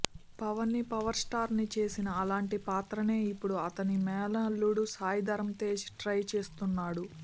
పవన్ని పవర్స్టార్ని చేసిన అలాంటి పాత్రనే ఇప్పుడు అతని మేనల్లుడు సాయి ధరమ్ తేజ్ ట్రై చేస్తున్నాడు